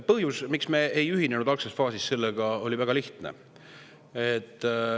Põhjus, miks me ei ühinenud algses faasis sellega, oli väga lihtne.